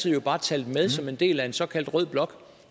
jo bare talt med som en del af en såkaldt rød blok